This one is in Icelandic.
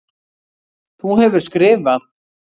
Þú hefur skrifað.